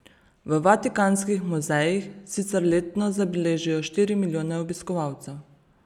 V Vatikanskih muzejih sicer letno zabeležijo štiri milijone obiskovalcev.